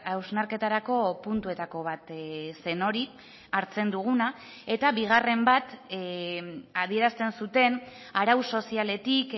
hausnarketarako puntuetako bat zen hori hartzen duguna eta bigarren bat adierazten zuten arau sozialetik